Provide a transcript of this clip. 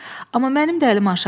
Amma mənim də əlim aşağıdır.